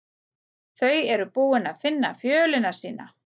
þau eru búin að finna fjölina sína